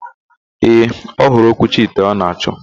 Ee, ọhụrụ okwuchi ite ọ na-achọ.